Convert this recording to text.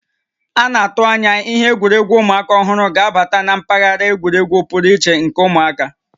A na-atụ anya ihe egwuregwu ụmụaka ọhụrụ ga-abata na mpaghara egwuregwu pụrụ iche nke ụmụaka